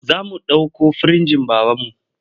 Za mu ɗauko firinjin babanmu.